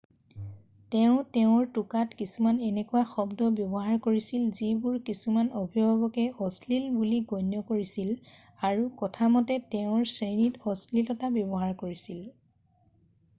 তেওঁ তেওঁৰ টোকাত কিছুমান এনেকুৱা শব্দ ব্যৱহাৰ কৰিছিল যিবোৰ কিছুমান অভিভাৱকে অশ্লীল বুলি গণ্য কৰিছিল আৰু কথা মতে তেওঁ শ্ৰেণীত অশ্লীলতা ব্যৱহাৰ কৰিছিল